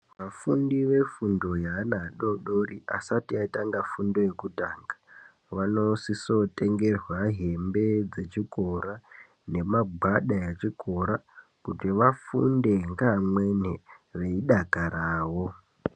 Vafundi vefundo yevana adodori ,asati atanga fundo yekutanga vanosisa kutengerwa hembe dzichikora ,nemagwada echikora kuti vafunde ngeamweni veidakarawo.